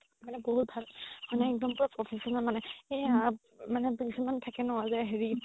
মানে বহুত ভাল মানে একদম পুৰা professional মানে সেইয়া মানে patient থাকে ন যে হেৰি